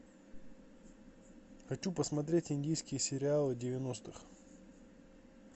хочу посмотреть индийские сериалы девяностых